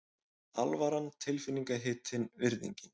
Alvaran tilfinningahitinn, virðingin.